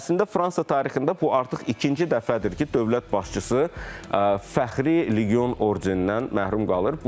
Əslində Fransa tarixində bu artıq ikinci dəfədir ki, dövlət başçısı fəxri legion ordenindən məhrum qalır.